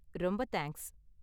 ரொம்ப தேங்க்ஸ்!